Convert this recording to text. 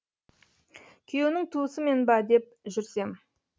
күйеуінің туысы мен ба деп жүрсем